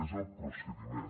és el procediment